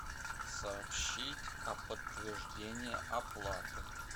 сообщить о подтверждении оплаты